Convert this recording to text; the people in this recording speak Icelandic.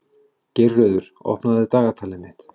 Geirröður, opnaðu dagatalið mitt.